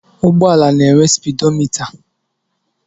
Ụgbọala na-enwe spidomịta.